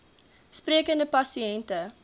sprekende pasi nte